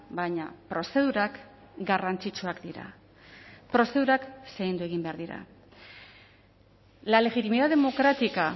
baina prozedurak garrantzitsuak dira prozedurak zaindu egin behar dira la legitimidad democrática